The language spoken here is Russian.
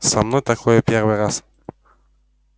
со мной такое в первый раз